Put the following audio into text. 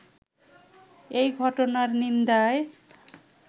এই ঘটনার নিন্দায়